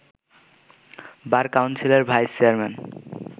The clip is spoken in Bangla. বার কাউন্সিলের ভাইস চেয়ারম্যান